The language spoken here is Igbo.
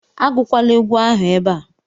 Agụkwala egwu ahụ ebe a